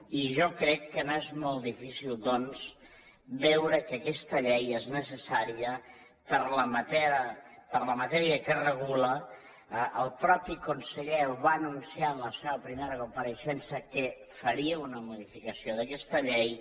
i jo crec que no és molt difícil doncs veure que aquesta llei és necessària per la matèria que regula el mateix conseller ho va anunciar en la seva primera compareixença que faria una modificació d’aquesta llei